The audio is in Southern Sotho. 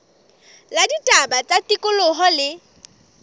la ditaba tsa tikoloho le